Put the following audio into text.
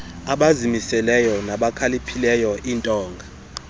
abazimiseleyo nabakhaliphileyo iintonga